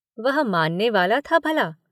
वह मानने वाला था भला।